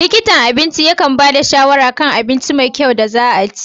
Likitan abinci yakan ba da shawara kan abinci mai kyau da za'a ci.